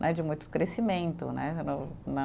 Né de muito crescimento, né? No né